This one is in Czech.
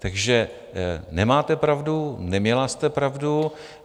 Takže nemáte pravdu, neměla jste pravdu.